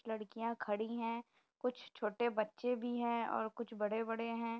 लड़कियां खड़ी है। कुछ छोटे बच्चे भी हैं और कुछ बड़े-बड़े हैं।